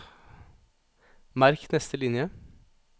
Merk neste linje